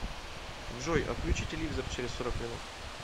джой отключи телевизор через сорок минут